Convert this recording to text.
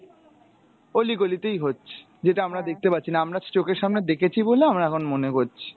অলি গলি তেই হচ্ছে, যেটা আমরা দেখতে পাচ্ছিনা, আমরা চোখের সামনে দেখেছি বলে আমরা এখন মনে করছি।